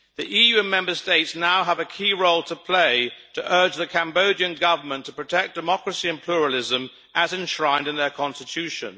EU member states now have a key role to play to urge the Cambodian government to protect democracy and pluralism, as enshrined in their constitution.